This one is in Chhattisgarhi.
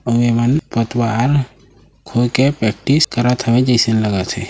अउ ए मन कोतवाल होये के प्रेक्टिस करत हे जैइसे लगत हे |